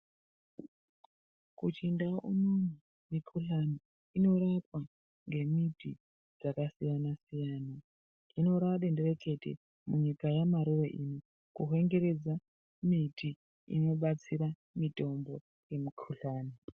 Kuchindau unono, mikhuhlani inorapwa ngemiti dzakasiyana-siyana. Hino raadenderekete munyika yamarure ino, kuhwengeredza miti inobatsira mitombo yemikhuhlani.